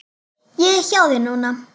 Ég er hjá þér núna.